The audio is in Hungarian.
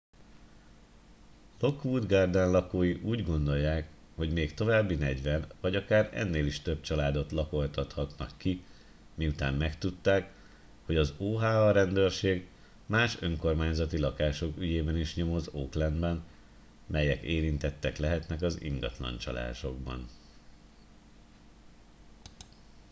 lockwood garden lakói úgy gondolják hogy még további 40 vagy akár ennél is több családot lakoltathatnak ki miután megtudták hogy az oha rendőrség más önkormányzati lakások ügyében is nyomoz oaklandben melyek érintettek lehetnek az ingatlancsalásokban